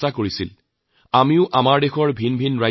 ইয়েই আমাৰ পৰ্যটনৰ এক ডাঙৰ শক্তি